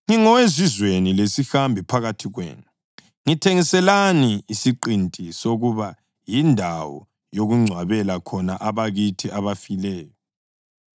“Ngingowezizweni lesihambi phakathi kwenu. Ngithengiselani isiqinti sokuba yindawo yokungcwabela khona abakithi abafileyo.”